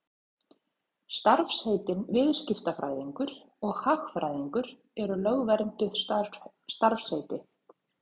Starfsheitin viðskiptafræðingur og hagfræðingur eru lögvernduð starfsheiti.